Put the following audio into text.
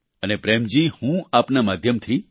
અને પ્રેમ જી હું આપના માધ્યમથી